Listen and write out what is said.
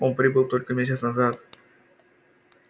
он прибыл только месяц назад